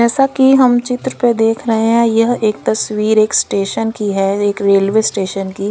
जैसा की हम चित्र पे देख रहे हैं यह एक तस्वीर एक स्टेशन की है एक रेलवे स्टेशन की।